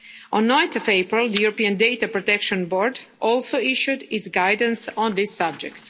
On 9 April, the European Data Protection Board also issued its guidance on this subject.